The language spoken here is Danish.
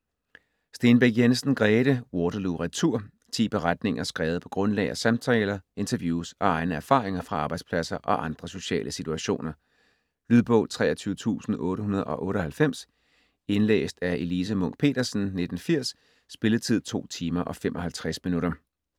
Stenbæk Jensen, Grete: Waterloo retur Ti beretninger skrevet på grundlag af samtaler, interviews og egne erfaringer fra arbejdspladser og andre sociale situationer. Lydbog 23898 Indlæst af Elise Munch-Petersen, 1980. Spilletid: 2 timer, 55 minutter.